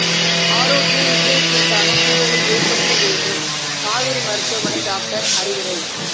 ஆரோக்கிய இருதயத்திற்கான சூழலை ஏற்படுத்த வேண்டும் காவேரி மருத்துவமனை டாக்டர் அறிவுரை